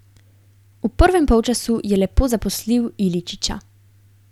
V prvem polčasu je lepo zaposlil Iličića.